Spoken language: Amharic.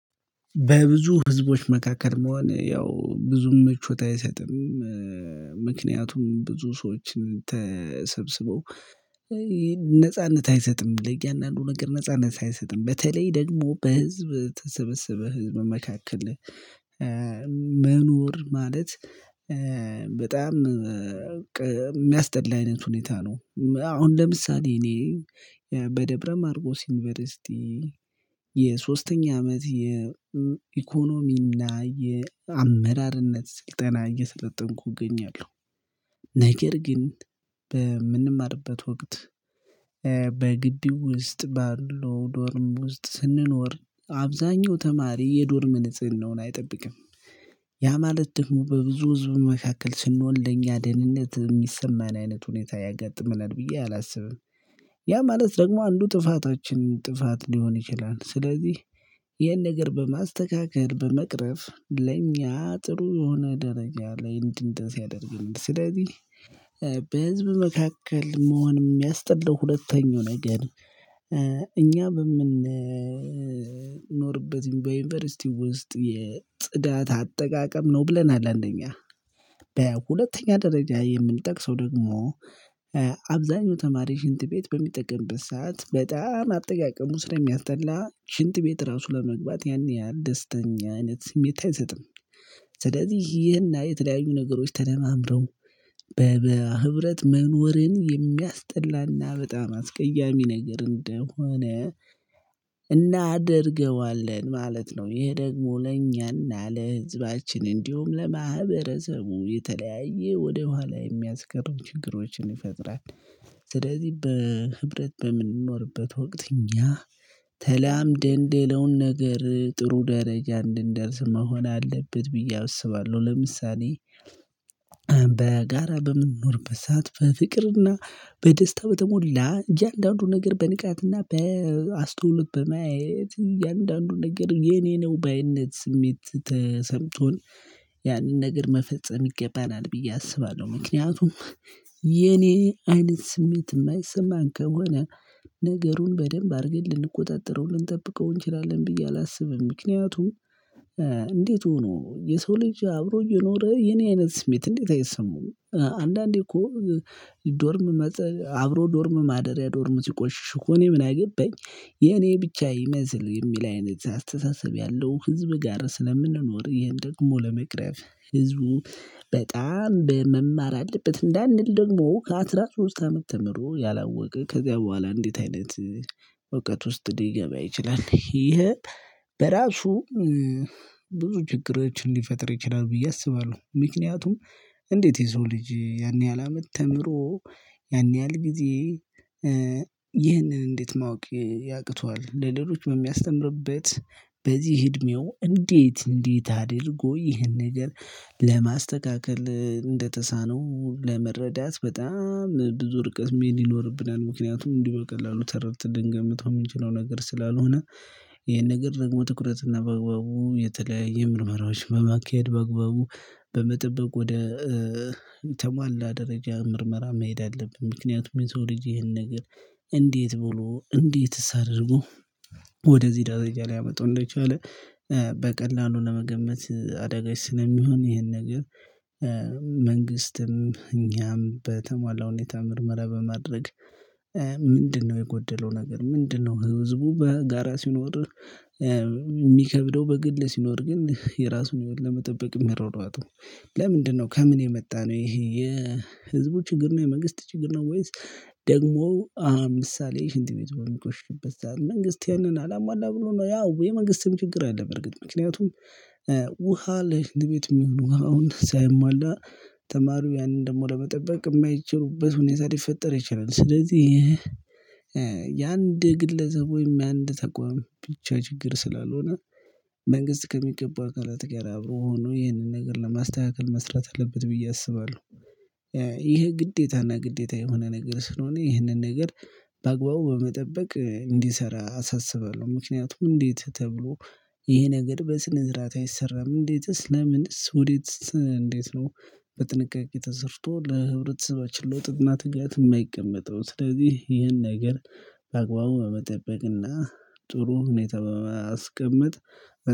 በብዙ ህዝቦች መካከል መሆነ ያው ብዙም ምቾት አይሰጥም። ምክንያቱም ብዙ ሰዎችን ተሰብስበው ነጻነት አይሰጥም ለእያንዳንዱ ነገር ነጻነት አይሰጥም በተለይ ደግሞ በህዝብ ተሰብስበ ህዝብ መካከል። መኖር ማለት በጣም የሚያስጠላ አይነት ሁኔታ ነው። አሁን ለምሳሌ እኔ በደብረ ማርቆስ ዩኒቨርሲቲ የሶስተኛ አመት የኢኮኖሚና የአመራርነት ስልጠና እየሰለጠንኩ እገኛለሁ። ነገር ግን በምንማርበት ወቅት በግቢው ውስጥ ባለው ዶርም ውስጥ ስንኖር አብዛኛው ተማሪ የዶርም ንጽህናውን አይጠብቅም። ያ ማለት ደግሞ በብዙ ህዝብ መካከል ስንሆን ለኛ ደህንነት የሚሰማን አይነት ሁኔታ ያጋጥምናል ብዬ አላስብም። ያ ማለት ደግሞ አንዱ ጥፋቶችን ጥፋት ሊሆን ይችላል። ስለዚህ ይሄን ነገር በማስተካከል በመቅረፍ ለእኛ ጥሩ የሆነ ደረጃ ላይ እንድንደርስ ሲያደርግ ስለዚህ። በህዝብ መካከል መሆን የሚያስጠላው ሁለተኛው ነገር እኛ በምንኖርበት በዩኒቨርሲቲ ውስጥ የጽዳት አጠቃቀም ነው። ብለናል አንደኛ በሁለተኛ ደረጃ የምንጠቅሰው ደግሞ አብዛኛው ተማሪ ሽንት ቤት በሚጠቅምበት ሰዓት በጣም አጠቃቀሙ ስለሚያስጠላ ሽንት ቤት ራሱ ለመግባት ያን ያህል ደስተኛ አይነት ስሜት አይሰጥም። ስለዚህ ይህና የተለያዩ ነገሮች ተደማምረው በህብረት መኖርን የሚያስጠላና በጣም አስቀያሚ ነገር እንደሆነ እናደርገዋለን ማለት ነው። ይሄ ደግሞ ለእኛና ለህዝባችን እንዲሁም ለማህበረሰቡ የተለያየ ወደኋላ የሚያስቀሩ ችግሮችን ይፈጥራል። ስለዚህ በህብረት በምንኖርበት ወቅት እኛ ተላምደን ሌላውን ነገር ጥሩ ደረጃ እንድንደርስ መሆን አለበት ብዬ አውስባለሁ። ለምሳሌ በጋራ በምንኖርበት ሰዓት በፍቅርና በደስታ በተሞላ እያንዳንዱ ነገር በንቃትና በአስተውሎት በማየት እያንዳንዱ ነገር የኔ ነው ባይነት ስሜት ተሰምቶን ያንን ነገር መፈጸም ይገባናል ብዬ አስባለሁ። ምክንያቱም የኔ አይነት ስሜት የማይሰማን ከሆነ ነገሩን በደንብ አድርገን ልንቆጣጠረው ልንጠብቀው እንችላለን ብዬ አላስብም። ምክንያቱም እንዴት ሆኖ የሰው ልጅ አብሮ እየኖረ የኔ አይነት ስሜት እንዴት አይሰማውም? አንዳንዴ እኮ ዶርም አብሮ ዶርም ማደሪያ ዶርም ሲቆሽሽ እኮ እኔ ምን አገባኝ የኔ ብቻ ይመስል የሚል አይነት አስተሳሰብ ያለው ህዝብ ጋር ስለምንኖር ይሄን ደግሞ ለመቅረፍ ህዝቡ በጣም በመማር አለበት። እንዳንል ደግሞ ከአሥራ ሶስት አመት ተምሮ ያላወቀ ከዚያ በኋላ እንዴት አይነት እውቀት ውስጥ ሊገባ ይችላል? ይሄ በራሱ ብዙ ችግሮችን ሊፈጥር ይችላል ብዬ አስባለሁ። ምክንያቱም እንዴት የሰው ልጅ ያን ያህል አመት ተምሮ ያን ያህል ጊዜ ይህንን እንዴት ማወቅ ያቅቷል? ለሌሎች በሚያስተምርበት በዚህ እድሜው እንዴት እንዴት አድርጎ ይህን ነገር ለማስተካከል እንደተሳነው ለመረዳት በጣም ብዙ ርቀት መሄድ ይኖርብናል። ምክንያቱም እንዲህ በቀላሉ ተረድተን ልንገምተው የምንችለው ነገር ስላልሆነ። ይሄን ነገር ደግሞ ትኩረትና በአግባቡ የተለያየ ምርመራዎች በማካሄድ በአግባቡ በመጠበቅ ወደ ተሟላ ደረጃ ምርመራ መሄድ አለብን። ምክንያቱም ሜትሮሎጂ ይሄን ነገር እንዴት ብሎ እንዴትስ አድርጎ ወደዚህ ደረጃ ሊያመጣው እንደቻለ። በቀላሉ ለመገመት አደጋች ስለሚሆን ይሄን ነገር። መንግስትም እኛም በተሟላ ሁኔታ ምርመራ በማድረግ። ምንድነው የጎደለው ነገር ምንድነው? ህዝቡ በጋራ ሲኖር? የሚከብደው በግል ሲኖር ግን የራሱን ለመጠበቅ የሚሯሯጠው። ለምንድነው ከምን የመጣ ነው? ይሄ የህዝቡ ችግር ነው። የመንግስት ችግር ነው? ወይስ ደግሞ ምሳሌ ሽንት ቤት በሚቆሽበት ሰዓት ላይ መንግስት ያንን አላሟላ ብሎ ነው። ያው የመንግስትም ችግር አለ። በርግጥ ምክንያቱም ውሃ ለሽንት ቤት የሚሆነው አሁን ሳይሟላ ተማሪው ያንን ደግሞ ለመጠበቅ የማይችሉበት ሁኔታ ሊፈጠር ይችላል። ስለዚህ የአንድ ግለሰቦች የአንድ ተቋም ብቻ ችግር ስላልሆነ። መንግስት ከሚገባው አካላት ጋር አብሮ ሆኖ ይህንን ነገር ለማስተካከል መስራት አለበት ብዬ አስባለሁ። ይሄ ግዴታና ግዴታ የሆነ ነገር ስለሆነ ይሄንን ነገር። በአግባቡ በመጠበቅ እንዲሰራ አሳስባለሁ። ምክንያቱም እንዴት ተብሎ ይሄ ነገር በስነ ስርዓት አይሰራም? እንዴትስ ለምንስ ወዴትስ እንዴት ነው? በጥንቃቄ ተሰርቶ ለህብረተሰባችን ለውጥና ትጋት የማይቀመጠው? ስለዚህ ይህን ነገር በአግባቡ በመጠበቅና ጥሩ ሁኔታ በማስቀመጥ።